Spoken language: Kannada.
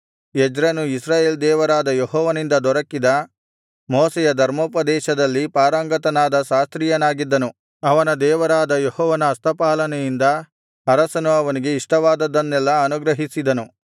ಎಜ್ರನು ಇಸ್ರಾಯೇಲ್ ದೇವರಾದ ಯೆಹೋವನಿಂದ ದೊರಕಿದ ಮೋಶೆಯ ಧರ್ಮೋಪದೇಶದಲ್ಲಿ ಪಾರಂಗತನಾದ ಶಾಸ್ತ್ರಿಯಾಗಿದ್ದನು ಅವನ ದೇವರಾದ ಯೆಹೋವನ ಹಸ್ತಪಾಲನೆಯಿಂದ ಅರಸನು ಅವನಿಗೆ ಇಷ್ಟವಾದದ್ದನ್ನೆಲ್ಲಾ ಅನುಗ್ರಹಿಸಿದನು